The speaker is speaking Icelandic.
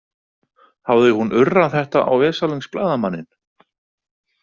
Hafði hún urrað þetta á veslings blaðamanninn?